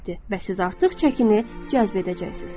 Və siz artıq çəkini cəzb edəcəksiniz.